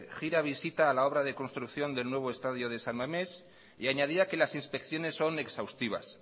gira visita a la obra de construcción del nuevo estadio de san mames y añadía que las inspecciones son exhaustivas